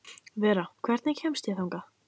Vera, hvernig kemst ég þangað?